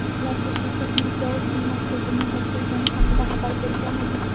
ularga Shavkat Mirziyoyevning maktubini topshirgani haqida xabar bergan edik.